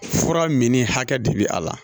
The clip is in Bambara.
Fura min ni hakɛ de bɛ a la